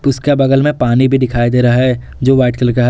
उसके बगल में पानी भी दिखाई दे रहा है जो वाइट कलर का है।